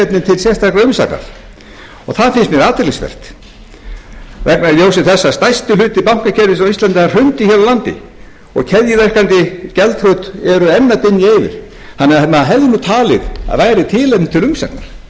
löggiltrar umsagnar og það finnst mér athyglisvert vegna þess að í ljósi þess að stærsti hluti bankakerfisins á íslandi hrundi hér á landi og keðjuverkandi gjaldþrot eru enn að dynja yfir þannig að maður hefði talið að væri tilefni til umsagnar hjá